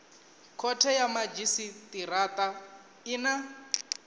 khothe ya madzhisitirata i na